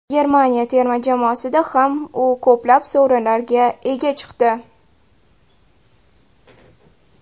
Germaniya terma jamoasida ham u ko‘plab sovrinlarga ega chiqdi.